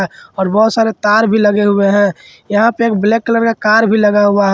और बहुत सारे तार भी लगे हुए है यहां पे एक ब्लैक कलर का कार भी लगा हुआ हैं।